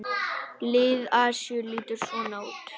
Lið Asíu lítur svona út